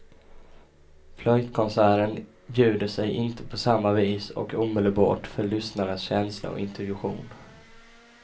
Flöjtkonserten bjuder sig inte på samma vis och omedelbart för lyssnarens känsla och intuition.